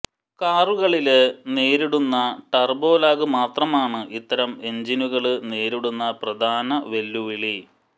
കാറുകളില് നേരിടുന്ന ടര്ബ്ബോലാഗ് മാത്രമാണ് ഇത്തരം എഞ്ചിനുകള് നേരിടുന്ന പ്രധാന വെല്ലുവിളി